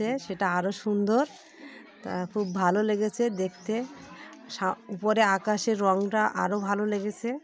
এ সেটা আরো সুন্দর তা খুব ভালো লেগেছে দেখতে। সা উপরে আকাশের রঙটা আরো ভালো লেগেসে।